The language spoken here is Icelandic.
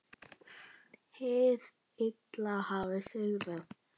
Hið illa hafði sigrað.